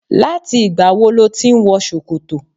Láti ìgbà wo ló ti ń wọ ṣòkòtò?